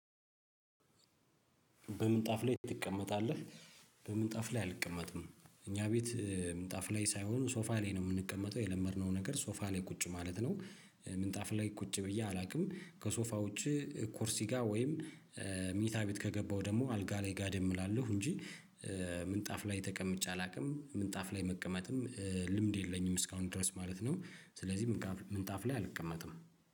በምንጣፍ ላይ ትቀመጣለህ? በምንጣፍ ላይ አልቀመጥም እኛ ቤት ምንጣፍ ላይ ሳይሆን ሶፋ ላይ ነው የምንቀመጠው የለመድነው ነገር ሶፋ ላይ ቁጭ ማለት ነው። ምንጣፍ ላይ ቁጭ ብዬ አላውቅም ከሶፋዎች ኩርሲ ጋር ወይም ምኝታ ቤት ከገባው ደግሞ አልጋ ላይ ጋደም እላለሁ እንጂ። ምንጣፍ ላይ ተቀምጬ አላውቅም ምንጣፍ ላይ መቀመጥም ልምድ የለኝም እስካሁን ድረስ ማለት ነው። ስለዚህ ምንጣፍ ላይ አልቀመጥም።